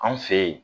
An fe yen